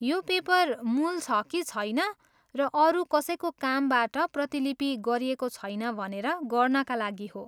यो़ paper मूल छ कि छैन र अरू कसैको कामबाट प्रतिलिपि गरिएको छैन भनेर गर्नाका लागि हो।